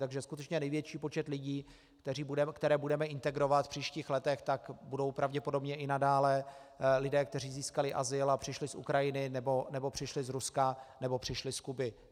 Takže skutečně největší počet lidí, které budeme integrovat v příštích letech, tak budou pravděpodobně i nadále lidé, kteří získali azyl a přišli z Ukrajiny nebo přišli z Ruska nebo přišli z Kuby.